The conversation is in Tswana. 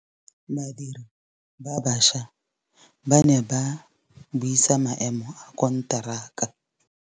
Badiri ba baša ba ne ba buisa maêmô a konteraka.